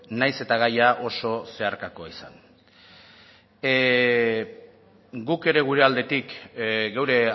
nahiz eta gaia oso zeharkakoa izan guk ere gure aldetik gure